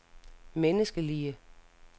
menneskelige